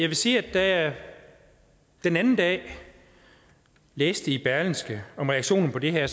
vil sige at da jeg den anden dag læste i berlingske om reaktionen på det her